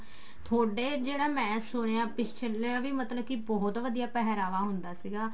ਥੋਡੇ ਜਿਹੜਾ ਮੈਂ ਸੁਣਿਆ ਪਿਛਲੇ ਵੀ ਮਤਲਬ ਕੇ ਬਹੁਤ ਵਧੀਆ ਪਹਿਰਾਵਾ ਹੁੰਦਾ ਸੀਗਾ